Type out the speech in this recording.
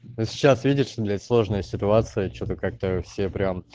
но сейчас видишь блять сложная ситуация что то как то все прям